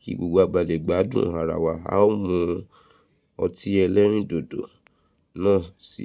kí gbogbo wa ba lè gbádùn ara wa a ó mu ọtí ẹlẹ́rìndòdò náà si.